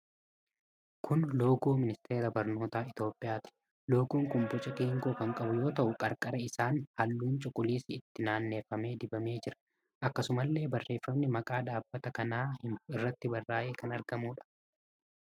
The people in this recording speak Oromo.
Kun loogoo Ministeera Barnootaa Itoophiyaati. Loogoon kun boca geengoo kan qabu yoo ta'u, qarqara isaan halluun cuquliisi itti naaannefamee dibamee jira. Akkasumallee barreffamni maqaa dhaabbata kanaa himu irratti barraa'ee kan argamuudha.